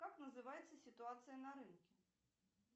как называется ситуация на рынке